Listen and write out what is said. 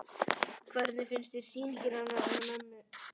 Hödd: Hvernig finnst þér sýningin hennar mömmu?